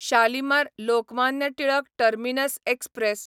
Shalimar Lokmanya Tilak terminus express